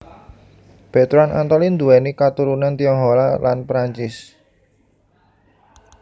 Bertrand Antolin nduwèni katurunan Tionghoa lan Prancis